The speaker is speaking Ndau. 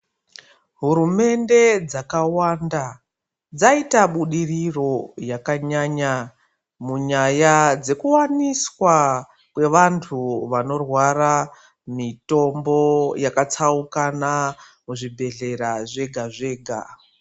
Hurumende dzakawanda dzaita budiriro yakanyanya munyaya dzekuwaniswa kwevantu vanorwara mitombo yakatsaukana muzvibhedhleya zvega zvega.